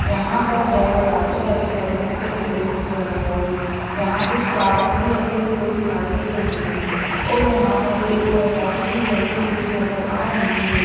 यहाँ पर रेड और व्हाइट कलर के बलूनों से डेकोरेट किया गया है यहाँ कुछ फ्लॉवरस भी रखे हुए दिखाई दे रहे है और यहाँ पर एक लाइट भी जलती हुई नजर आ रही है।